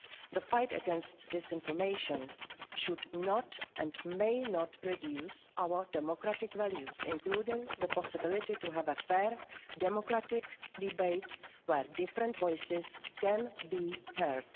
speech. The fight against disinformation should not and may not reduce our democratic values, including the possibility to have a fair democratic debate where different voices can